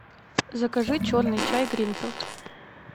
закажи черный чай гринфилд